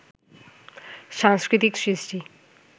সাংস্কৃতিক সৃষ্টি